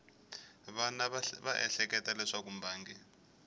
wana va ehleketa leswaku mbangi